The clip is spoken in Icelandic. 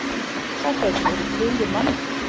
Það gæti verið tugir manna.